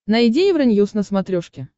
найди евроньюз на смотрешке